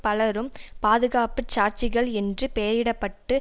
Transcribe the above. பலரும் பாதுகாப்பு சாட்சிகள் என்று பெயரிடப்பட்டு